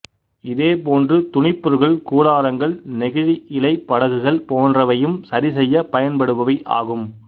இதே போன்று துணிப்பொருள்கள் கூடாரங்கள் நெகிழி இலைப் படகுகள் போன்றவையும் சரிசெய்ய பயன்படுபவை ஆகும்